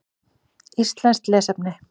Íslenskt lesefni: